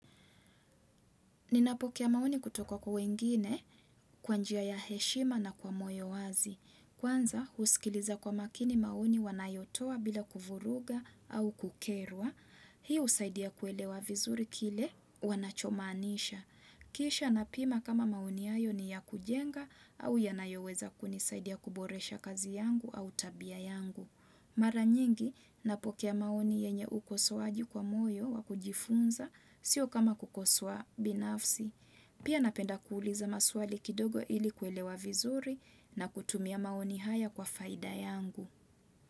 Ninapokea maoni kutoka kwa wengine, kwa njia ya heshima na kwa moyo wazi. Kwanza, huskiliza kwa makini maoni wanayotoa bila kuvuruga au kukerwa. Hii husaidia kuelewa vizuri kile wanachomaanisha. Kisha napima kama maoni hayo ni ya kujenga au yanayoweza kunisaidia kuboresha kazi yangu au tabia yangu. Mara nyingi napokea maoni yenye ukosoaji kwa moyo wakujifunza sio kama kukosoa binafsi. Pia napenda kuuliza maswali kidogo ili kuelewa vizuri na kutumia maoni haya kwa faida yangu.